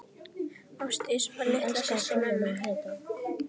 Ásdís var litla systir mömmu.